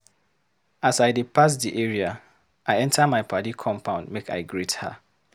As I dey pass di area, I enta my paddy compound make I greet her.